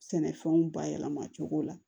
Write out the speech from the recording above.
Sɛnɛfɛnw bayɛlɛma cogo la